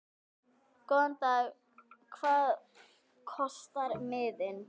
Góðan dag. Hvað kostar miðinn?